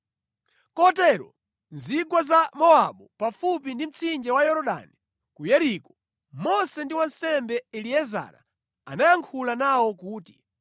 Kotero mu zigwa za Mowabu pafupi ndi mtsinje wa Yorodani ku Yeriko, Mose ndi wansembe Eliezara anayankhula nawo kuti,